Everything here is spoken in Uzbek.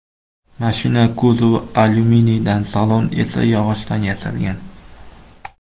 Mashina kuzovi alyuminiydan, salon esa yog‘ochdan yasalgan.